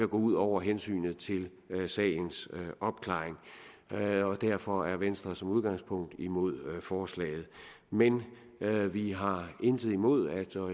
ud over hensynet til sagens opklaring derfor er venstre som udgangspunkt imod forslaget men vi har intet imod og jeg